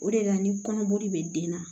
O de la ni kɔnɔboli bɛ den na